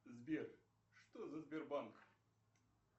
сбер что за сбербанк